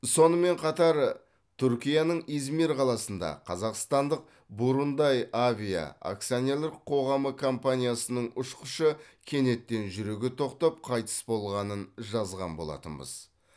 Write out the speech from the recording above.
сонымен қатар түркияның измир қаласында қазақстандық бурундайавиа акционерлік қоғамы компаниясының ұшқышы кенеттен жүрегі тоқтап қайтыс болғанын жазған болатынбыз